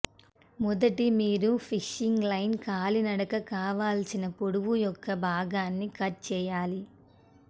మొదటి మీరు fishing line కాలినడక కావలసిన పొడవు యొక్క భాగాన్ని కట్ చేయాలి